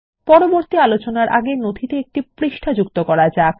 পরবর্তী আলোচনার আগে নথিতে একটি নতুন পৃষ্ঠা যুক্ত করা যাক